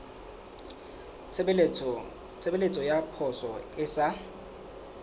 tshebeletso ya poso e sa